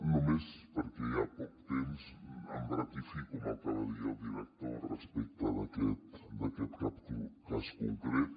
només perquè hi ha poc temps em ratifico en el que va dir el director respecte d’aquest cas concret